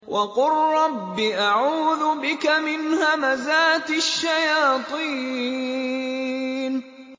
وَقُل رَّبِّ أَعُوذُ بِكَ مِنْ هَمَزَاتِ الشَّيَاطِينِ